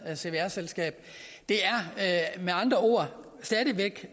cvr selskab det er med andre ord stadig væk